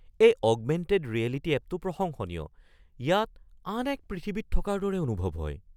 এই augmented reality এপটো প্ৰশংসনীয়। ইয়াত আন এক পৃথিৱীত থকাৰ দৰে অনুভৱ হয়।